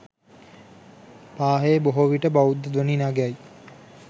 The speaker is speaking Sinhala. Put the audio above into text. පාහේ බොහෝ විට බෞද්ධ ධ්වනි නගයි.